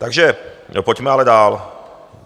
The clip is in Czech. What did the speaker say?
Takže pojďme ale dál.